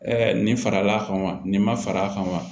nin faral'a kan wa nin ma fara a kan wa